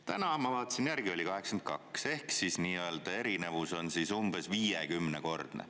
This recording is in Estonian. Täna, ma vaatasin järgi, oli 82 ehk erinevus on umbes 50-kordne.